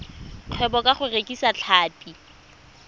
kgwebo ka go rekisa tlhapi